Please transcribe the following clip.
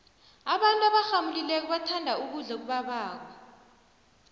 abantu gborgnamulileko bathanda ukudlo okubaboko